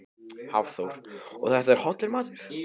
Hafþór: Og þetta er hollur matur?